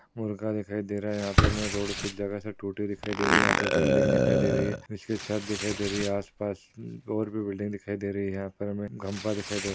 मुर्गा दिखाई दे रहा है। यहापे हमे रोड कुछ जगासे टूटी दिखाई दे रही है। यहा पे बिल्डिंग दिखाई दे रही है। इसकी छत दिखाई दे रही है। आसपास और भी बिल्डिंग दिखाई दे रही है। यहा पर हमे घंपा दिखाई दे--